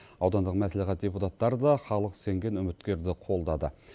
аудандық мәслихат депутаттары да халық сенген үміткерді қолдады